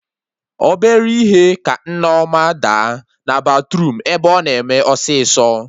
Obere ihe ka Nneọma daa na batruum ebe ọ na eme ọsịsọ